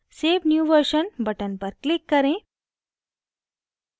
save new version button पर click करें